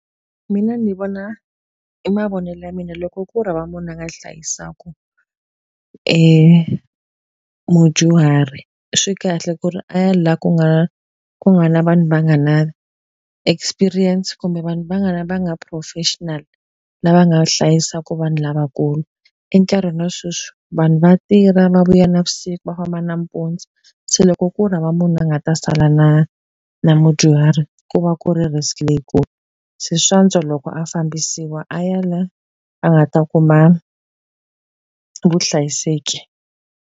Mina ndzi vona hi mavonelo ya mina loko ku ri hava munhu a nga hlayisaka mudyuhari, swi kahle ku ri a ya laha ku nga ku nga na vanhu va nga na experience kumbe vanhu va nga va nga professional, lava nga hlayisaka vanhu lavakulu. Enkarhini wa sweswi vanhu va tirha, va vuya navusiku, va famba nampundzu, se loko ku ri hava u nga ta sala na na mudyuhari ku va ku ri risk leyi kulu. Se swa antswa loko a fambisiwa a ya laha a nga ta kuma vuhlayiseki.